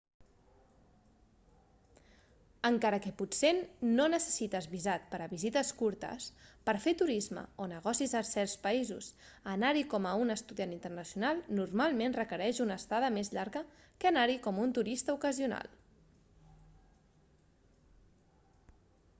encara que potser no necessites visat per a visites curtes per fer turisme o negocis a certs països anar-hi com a un estudiant internacional normalment requereix una estada més llarga que anar-hi com un turista ocasional